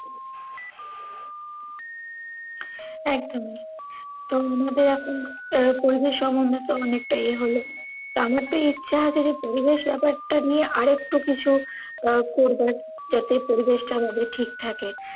একদমই। তো মোদের এখন আহ পরিবেশ সংক্রান্ত অনেকটা এ হল। টা আমার তো ইচ্ছে আছে যে পরিবেশ ব্যাপারটা নিইয়ে আর ও একটু কিছু আহ করবো যাতে পরিবেশটা এভাবে ঠিক থাকে।